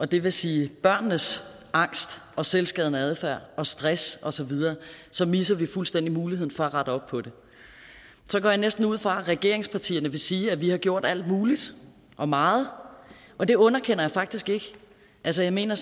det vil sige børnenes angst og selvskadende adfærd og stress og så videre så misser vi fuldstændig muligheden for at rette op på det så går jeg næsten ud fra at regeringspartierne vil sige at vi har gjort alt muligt og meget og det underkender jeg faktisk ikke altså jeg mener